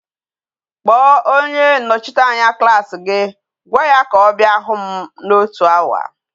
Kpo onye nnochiteanya klas gi gwa ya ka o bia hu m na otu hour!